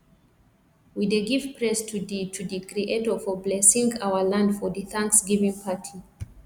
we dey give praise to di to di creator for blesing our land for di thanksgiving party